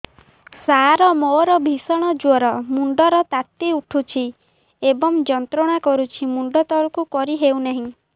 ସାର ମୋର ଭୀଷଣ ଜ୍ଵର ମୁଣ୍ଡ ର ତାତି ଉଠୁଛି ଏବଂ ଯନ୍ତ୍ରଣା କରୁଛି ମୁଣ୍ଡ ତଳକୁ କରି ହେଉନାହିଁ